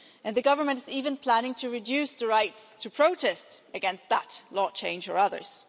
The government is even planning to reduce the rights to protest against that law change or others.